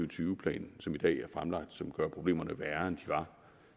og tyve plan som i dag er fremlagt som gør problemerne værre end de var